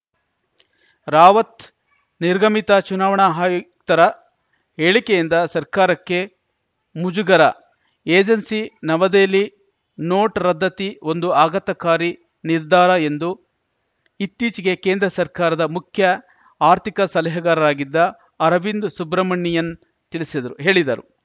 ರಾವತ್‌ ನಿರ್ಗಮಿತ ಚುನಾವಣಾ ಹಾಯುಕ್ತರ ಹೇಳಿಕೆಯಿಂದ ಸರ್ಕಾರಕ್ಕೆ ಮುಜುಗರ ಏಜೆನ್ಸಿ ನವದೆಹಲಿ ನೋಟು ರದ್ದತಿ ಒಂದು ಆಘಾತಕಾರಿ ನಿರ್ಧಾರ ಎಂದು ಇತ್ತೀಚೆಗೆ ಕೇಂದ್ರ ಸರ್ಕಾರದ ಮುಖ್ಯ ಆರ್ಥಿಕ ಸಲಹೆಗಾರರಾಗಿದ್ದ ಅರವಿಂದ್ ಸುಬ್ರಮಣಿಯನ್‌ ತಿಳಿಸಿದ್ರು ಹೇಳಿದರು